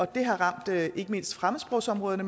det har ramt ikke mindst fremmedsprogsområderne